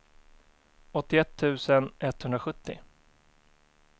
åttioett tusen etthundrasjuttio